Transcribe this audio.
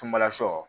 Sumala sɔ